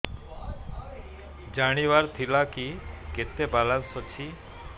ଜାଣିବାର ଥିଲା କି କେତେ ବାଲାନ୍ସ ଅଛି